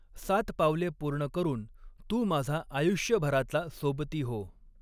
सात पावले पूर्ण करून, तू माझा आयुष्यभराचा सोबती हो.